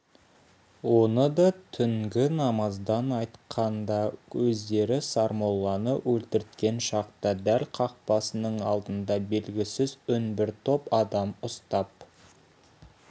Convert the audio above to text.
оны да түнгі намаздан қайтқанда өздері сармолланы өлтірткен шақта дәл қақпасының алдында белгісіз үнсіз бір топ адам ұстап